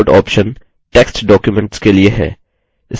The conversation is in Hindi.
view layout option text documents के लिए है